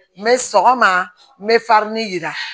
N bɛ sɔgɔma n bɛ yira